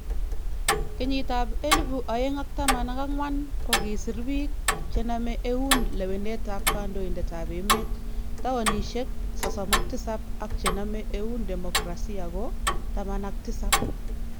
Kenyiit ab 2014 kokisiir biik chename eun lewenet ab kandoited ab emet towunishek 37 ak chename eun demokrasia ko 17